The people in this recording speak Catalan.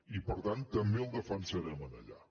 i per tant també el defensarem allà